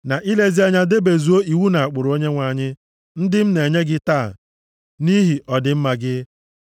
na ilezi anya debezuo iwu na ụkpụrụ Onyenwe anyị, ndị m na-enye gị taa, nʼihi ọdịmma gị.